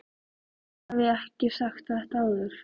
Hef ég ekki sagt þetta áður?